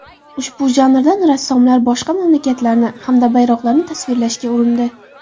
Ushbu janrdan rassomlar boshqa mamlakatlarni hamda bayroqlarni tasvirlashga urindi.